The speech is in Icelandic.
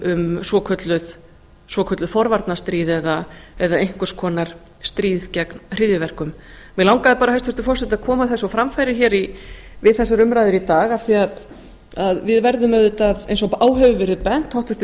um svokölluð forvarnastríð eða einhvers konar stríð gegn hryðjuverkum mig langaði bara hæstvirtur forseti að koma þessu á framfæri við þessar umræður í dag af því að við verðum auðvitað eins og á hefur verið bent háttvirtir